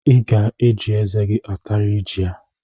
I ga-eji eze atarịrị jị a!